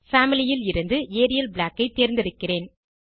family ல் இருந்து Arial Black ஐ தேர்ந்தெடுக்கிறேன்